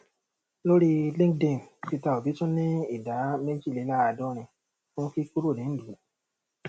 lórí linkedin peter obi tún ní ìdá méjìléàádọrin fún kíkúrò nílùú